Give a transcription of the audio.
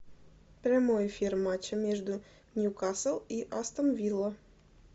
прямой эфир матча между ньюкасл и астон вилла